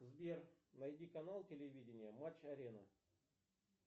сбер найди канал телевидения матч арена